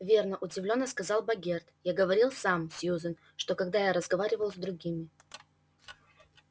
верно удивлённо сказал богерт я говорил скм сьюзен что когда я разговаривал с другими